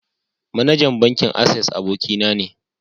Managan bankin "access" aboki na ne.